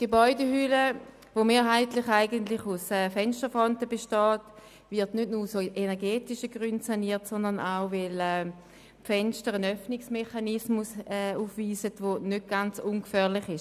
Die Gebäudehülle, die mehrheitlich aus Fensterfronten besteht, wird nicht nur aus energetischen Gründen saniert, sondern auch, weil die Fenster einen Öffnungsmechanismus aufweisen, der nicht ganz ungefährlich ist.